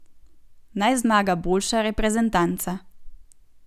Naj zmaga boljša reprezentanca.